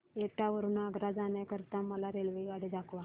एटा वरून आग्रा जाण्या करीता मला रेल्वेगाडी दाखवा